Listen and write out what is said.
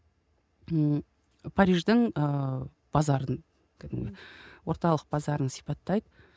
ммм париждің ыыы базарын кәдімгі орталық базарын сипаттайды